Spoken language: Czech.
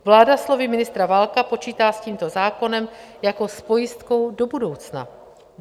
Vláda slovy ministra Válka počítá s tímto zákonem jako s pojistkou do budoucna.